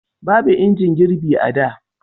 babu injin girbi a da